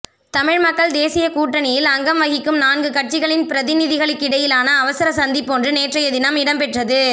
தமிழ் மக்கள் தேசியக் கூட்டணியில் அங்கம் வகிக்கும் நான்கு கட்சிகளின் பிரதிநிதிகளுகிடையிலான அவசர சந்திப்பொன்று நேற்றைய தினம் இடம்பெற்றது